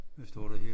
Hvad står der her